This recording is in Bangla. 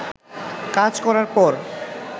কাজ করার পর